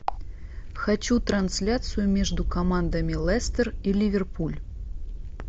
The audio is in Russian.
хочу трансляцию между командами лестер и ливерпуль